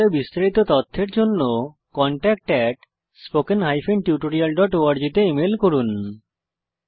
এই বিষয়ে বিস্তারিত তথ্যের জন্য contactspoken tutorialorg তে ইমেল করুন